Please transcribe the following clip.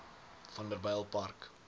vanderbijilpark